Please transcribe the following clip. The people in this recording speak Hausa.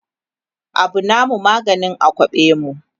Abu namu maganin a kwaɓe mu